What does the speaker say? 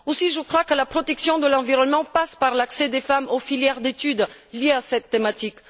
Aussi je crois que la protection de l'environnement passe par l'accès des femmes aux filières d'études liées à cette thématique.